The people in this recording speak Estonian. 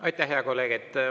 Aitäh, hea kolleeg!